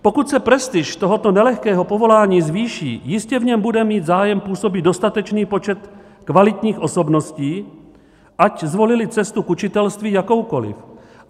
Pokud se prestiž tohoto nelehkého povolání zvýší, jistě v něm bude mít zájem působit dostatečný počet kvalitních osobností, ať zvolily cestu k učitelství jakoukoliv.